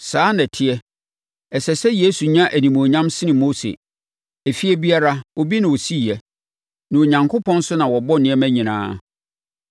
Saa ara na ɛteɛ; ɛsɛ sɛ Yesu nya animuonyam sene Mose. Efie biara, obi na ɔsiiɛ. Na Onyankopɔn nso na wabɔ nneɛma nyinaa.